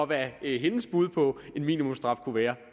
hvad hendes bud på en minimumsstraf kunne være